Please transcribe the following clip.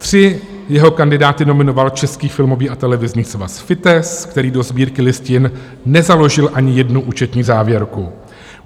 Tři jeho kandidáty nominoval Český filmový a televizní svaz, FITES, který do Sbírky listin nezaložil ani jednu účetní závěrku.